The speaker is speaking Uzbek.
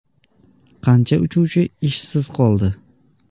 Qancha uchuvchi ishsiz qoldi?.